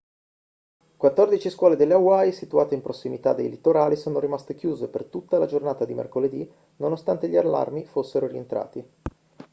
quattordici scuole delle hawaii situate in prossimità dei litorali sono rimaste chiuse per tutta la giornata di mercoledì nonostante gli allarmi fossero rientrati